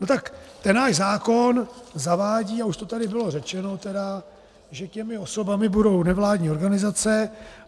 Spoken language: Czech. No tak ten náš zákon zavádí, a už to tady bylo řečeno tedy, že těmi osobami budou nevládní organizace.